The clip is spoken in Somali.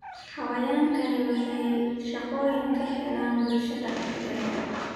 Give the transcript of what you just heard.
Xayawaankani waxay shaqooyin ka helaan bulshada dhexdeeda.